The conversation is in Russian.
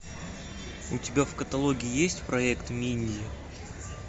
у тебя в каталоге есть проект минди